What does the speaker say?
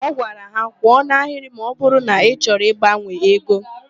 Ọ gwara ha. "kwụọ n'ahịrị ma ọbụrụ na ị chọrọ ịgbanwe ego"!